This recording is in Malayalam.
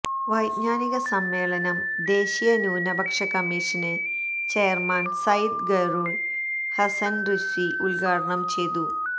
വൈജ്ഞാനിക സമ്മേളനം ദേശീയ ന്യൂനപക്ഷ കമ്മീഷന് ചെയര്മാന് സയ്യിദ് ഖൈറുല് ഹസ്സന് റിസ്വി ഉദ്ഘാടനം ചെയ്തു